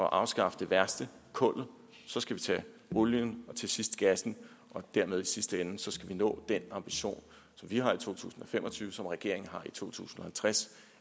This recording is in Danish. at afskaffe det værste kullet så skal vi tage olien og til sidst gassen og dermed i sidste ende nå den ambition som vi har i to tusind og fem og tyve og som regeringen har i to tusind og halvtreds